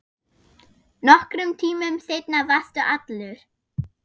Nokkrum tímum seinna varstu allur.